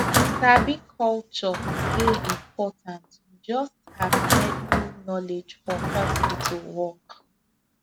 sabi culture dey important just as medical knowledge for hospital work